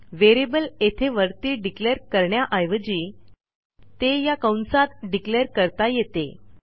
variable येथे वरती declare करण्याऐवजी ते या कंसात डिक्लेअर करता येते